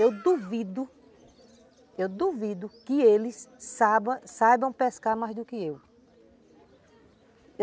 Eu duvido, eu duvido que eles saiba saibam pescar mais do que eu.